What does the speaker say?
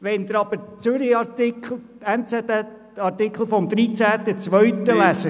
Wenn Sie nun den «NZZ»-Artikel vom 13.02.2018 lesen… .)